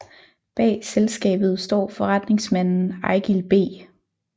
Bag selskabet står forretningsmanden Eigild B